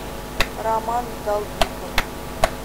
роман долбиков